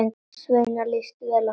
Svenna líst vel á það.